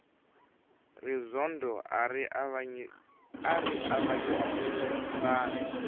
rizondho ari avanyisile vanhu